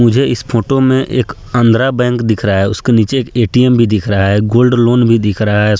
मुझे इस फोटो में एक आंध्रा बैंक दिख रहा है उसके नीचे एक ए.टी.एम. भी दिख रहा है गोल्ड लोन भी दिख रहा है।